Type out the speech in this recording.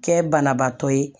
Kɛ banabaatɔ ye